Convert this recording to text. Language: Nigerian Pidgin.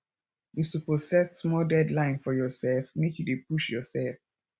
you suppose set small deadline for yoursef make you dey push yoursef